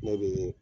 Ne bɛ